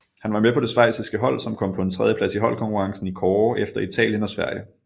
Han var med på det schweiziske hold som kom på en tredjeplads i holdkonkurrencen i kårde efter Italien og Sverige